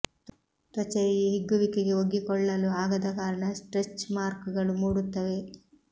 ತ್ವಚೆಯ ಈ ಹಿಗ್ಗುವಿಕೆಗೆ ಒಗ್ಗಿಕೊಳ್ಳಲು ಆಗದ ಕಾರಣ ಸ್ಟ್ರೆಚ್ ಮಾರ್ಕ್ ಗಳು ಮೂಡುತ್ತವೆ